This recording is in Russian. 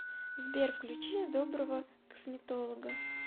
сбер включи доброго косметолога